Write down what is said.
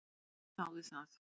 Gaui þáði það.